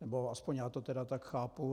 Nebo aspoň já to tedy tak chápu.